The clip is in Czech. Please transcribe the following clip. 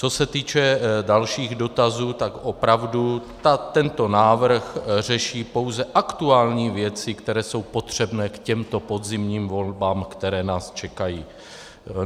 Co se týče dalších dotazů, tak opravdu tento návrh řeší pouze aktuální věci, které jsou potřebné k těmto podzimním volbám, které nás čekají.